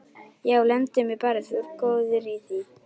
Já, lemdu mig bara, þú ert góður í því!